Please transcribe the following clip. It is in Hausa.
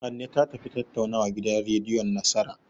Hanne ta tafi tattaunawa gidan rediyon Nasara.